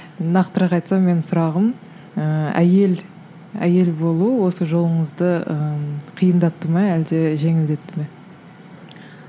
нақтырақ айтсам менің сұрағым ііі әйел әйел болу осы жолыңызды ыыы қиындатты ма әлде жеңілдетті ме